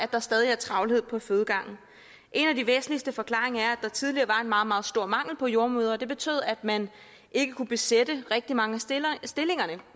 der stadig er travlhed på fødegangen en af de væsentligste forklaringer er der tidligere var en meget meget stor mangel på jordemødre og det betød at man ikke kunne besætte rigtig mange